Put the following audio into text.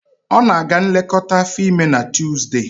Ọ na-aga nlekọta afọ ime na Tuzdee